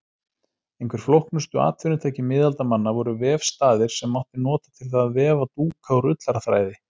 Einhver flóknustu atvinnutæki miðaldamanna voru vefstaðir sem mátti nota til að vefa dúka úr ullarþræði.